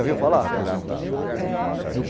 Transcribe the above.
Já viu falar? hum